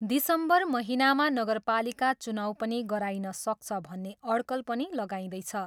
दिसम्बर महिनामा नगरपलिका चुनाउ पनि गराइन सक्छ भन्ने अड्कल पनि लगाइँदैछ।